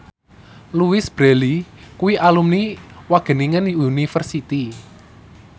Louise Brealey kuwi alumni Wageningen University